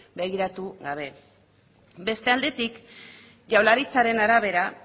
begiratu gabe beste aldetik jaurlaritzaren arabera